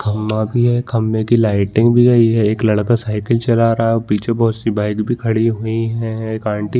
खम्बा भी है खम्बे की लाइटिंग भी है ये लड़का साइकिल चला रहा है और पीछे बहुत सी बाइक भी खड़ी हुई है एक आंटी --